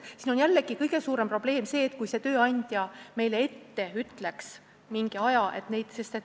Siin on jällegi kõige suurem probleem see, et tööandja peaks meile mingi aja ette ütlema.